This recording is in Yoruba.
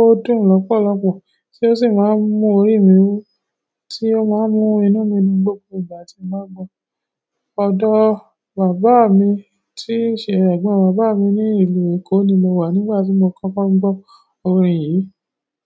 ó dùn lọ́pọ̀lọpọ̀ tí ó sì máa ń mú orí mi wú tí ó máa ń mú inú mi dùn gbógbo ìgbà tí mo bá gbọ́. Ọ̀dọ̀ bàbá mi tí ṣe ẹ̀gbọ́n bàbá mi ní ìlú Èkó ni mo wà nígbà tí mo kọ́kọ́ gbọ́ orin yìí.